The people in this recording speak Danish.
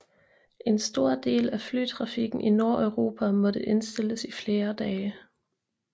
En stor del af flytrafikken i Nordeuropa måtte indstilles i flere dage